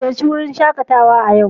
Ziyarci wurin shaƙatawa a yau.